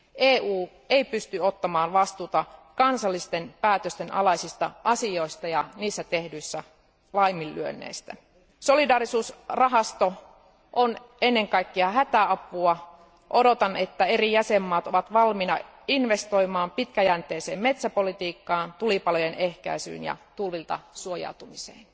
EU ei pysty ottamaan vastuuta kansallisten päätösten alaisista asioista ja niissä tehdyistä laiminlyönneistä. Solidaarisuusrahasto on ennen kaikkea hätäapua ja odotan, että eri jäsenvaltiot ovat valmiita investoimaan pitkäjänteiseen metsäpolitiikkaan, tulipalojen ehkäisyyn ja tulvilta suojautumiseen.